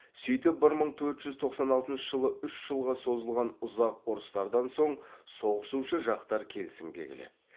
сөйтіп бір мың төрт жүз тоқсан алтыншы жылы үш жылға созылған ұзақ ұрыстардан соң соғысушы жақтар келісімге келеді